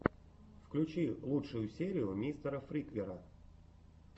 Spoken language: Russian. включи лучшую серию мистера фриквера